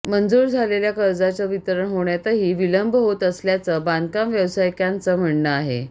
मंजूर झालेल्या कर्जाचं वितरण होण्यातही विलंब होत असल्याचं बांधकाम व्यवसायिकांच म्हणणं आहे